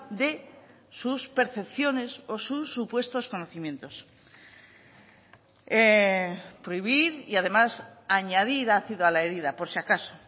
de sus percepciones o sus supuestos conocimientos prohibir y además añadir ácido a la herida por si acaso